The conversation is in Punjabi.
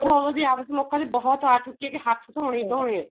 ਲੋਕਾ ਦੀ ਬਹੁਤ ਆ ਚੁੱਕੀ ਏ ਕੀ ਹੱਥ ਧੋਣੇ ਹੀ ਧੋਣੇ ਏ